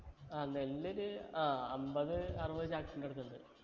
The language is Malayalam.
ആ നെല്ല് ഒര് ആഹ് അമ്പത് അറുപത് ചാക്കിന്റെ അടുത്ത് ഉണ്ട്